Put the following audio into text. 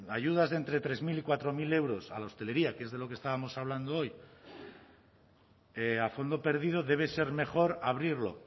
ayudas de entre tres mil y cuatro mil euros a la hostelería que es de lo que estábamos hablando hoy a fondo perdido debe ser mejor abrirlo